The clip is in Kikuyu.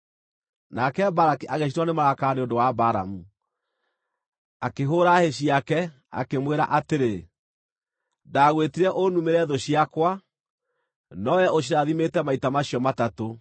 Nake Balaki agĩcinwo nĩ marakara nĩ ũndũ wa Balamu. Akĩhũũra hĩ ciake, akĩmwĩra atĩrĩ, “Ndagwĩtire ũnumĩre thũ ciakwa, no wee ũcirathimĩte maita macio matatũ.